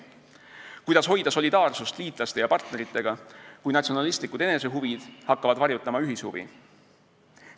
Kuidas hoida solidaarsust liitlaste ja partneritega, kui natsionalistlikud enesehuvid hakkavad varjutama ühishuvi?